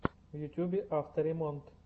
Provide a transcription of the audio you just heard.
в ютюбе авто ремонт